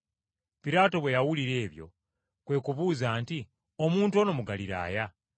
Piraato bwe yawulira ebyo kwe kubuuza nti, “Omuntu ono Mugaliraaya?”